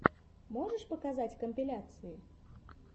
можешь показать компиляции